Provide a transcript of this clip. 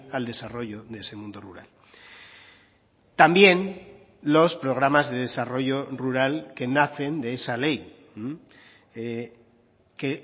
al desarrollo de ese mundo rural también los programas de desarrollo rural que nacen de esa ley que